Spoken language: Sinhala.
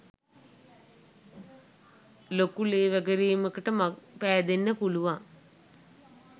ලොකු ලේ වැගිරීමකට මං පෑදෙන්න පුළුවන්